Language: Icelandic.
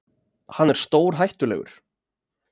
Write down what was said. Hann er stórhættulegur.